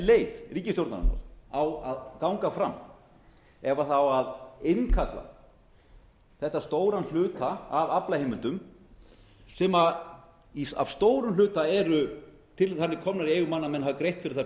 leið ríkisstjórnarinnar á að ganga fram ef það á að innkalla þetta stóran hluta af aflaheimildum sem að stórum hluta eru þannig komnar í eigu manna að menn hafi greitt ári það fullt